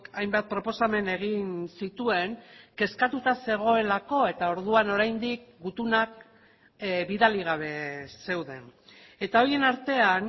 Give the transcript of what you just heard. hainbat proposamen egin zituen kezkatuta zegoelako eta orduan oraindik gutunak bidali gabe zeuden etahorien artean